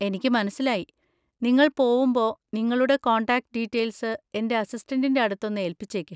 എനിക്ക് മനസ്സിലായി. നിങ്ങൾ പോവുമ്പോ നിങ്ങളുടെ കോൺടാക്ട് ഡീറ്റെയിൽസ് എൻ്റെ അസിസ്റ്റന്‍റിൻ്റെ അടുത്തൊന്ന് ഏല്പിച്ചേക്ക്.